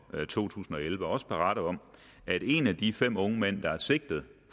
to tusind og elleve også berette om at en af de fem unge mænd der er sigtet